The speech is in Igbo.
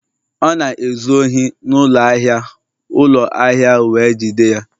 Ọ na-ezu ohi n'ụlọ ahịa ụlọ ahịa wee jide ya